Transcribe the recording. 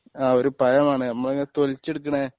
ആ ഒരു പഴമാണ് നമ്മളിങ്ങനെ തൊലിച്ച് എടുക്കണേ